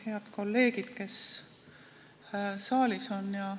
Head kolleegid, kes saalis on!